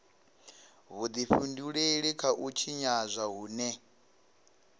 vhudifhinduleli kha u tshinyadzwa hune